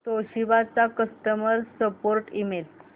Toshiba चा customer support email